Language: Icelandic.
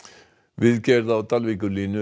viðgerð á